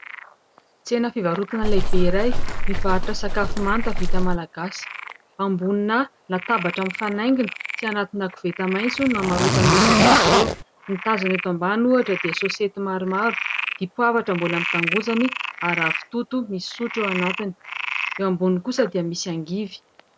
Tsena fivarotana lehibe iray mivarotra sakafo manta vita malagasy ; ambonina latabatra mifanaingina sy anaty koveta maitso no hamarotan'ireo sakafo ireo. Ny tazana eto ambany ohatra dia saosety maromaro, dipoavatra mbola amin'ny tangozany, ary ravitoto misy sotro eo anatiny ; eo amboniny kosa dia misy angivy.